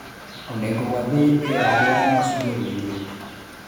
: "Onego wadhi e aluora ma sibuor nitie."